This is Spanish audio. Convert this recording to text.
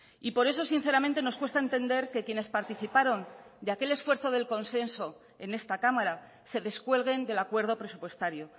y por eso sinceramente nos cuesta entender que quienes participaron de aquel esfuerzo del consenso en esta cámara se descuelguen del acuerdo presupuestario